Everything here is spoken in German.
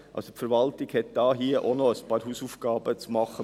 Die Verwaltung hat hier auch noch ein paar Hausaufgaben zu erledigen.